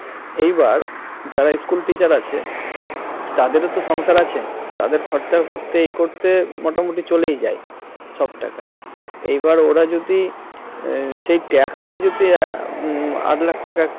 এইবার যারা school teacher আছে তাদেরও তো সংসার আছে তাদের খরচা করতে সেই করতে মোটামুটি চলে যায় সব টাকা এইবার ওরা যদি সেই TAX যদি আট লাখ টাকা